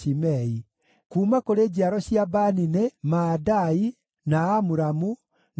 Kuuma kũrĩ njiaro cia Bani nĩ: Maadai, na Amuramu, na Ueli,